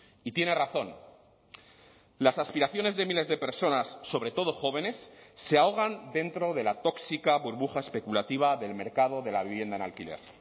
y tiene razón las aspiraciones de miles de personas sobre todo jóvenes se ahogan dentro de la tóxica burbuja especulativa del mercado de la vivienda en alquiler